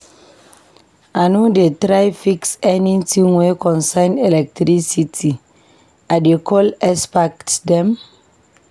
I no dey try fix anytin wey concern electricity, I dey call expert dem.